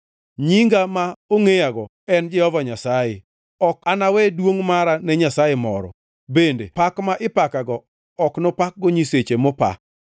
“Nyinga ma ongʼeyago en; Jehova Nyasaye! Ok anawe duongʼ mara ne nyasaye moro, bende pak ma ipakago ok nopakgo nyiseche mopa.